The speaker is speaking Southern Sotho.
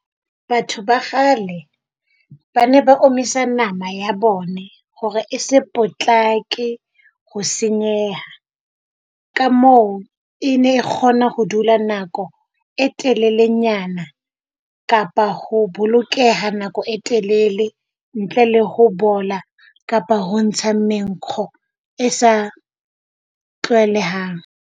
Batho ba kgale ba ne ba omisa nama ya bona hore e se potlake ho senyeha, ka moo e ne kgona ho dula nako e telelenyana kapa ho bolokeha nako e telele ntle le ho bola kapa ho ntsha menkgo e sa tlwaelehang.